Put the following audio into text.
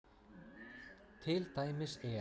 Til dæmis er